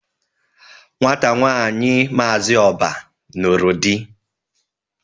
Nwata nwaanyị Maazi Oba nụrụ di.